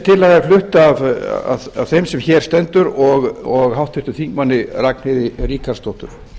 tillaga er flutt af þeim er hér stendur og háttvirtur þingmaður ragnheiði ríkharðsdóttur